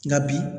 Nka bi